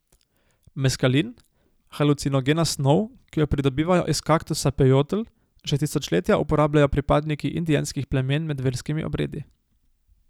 Meskalin, halucinogena snov, ki jo pridobivajo iz kaktusa pejotl, že tisočletja uporabljajo pripadniki indijanskih plemen med verskimi obredi.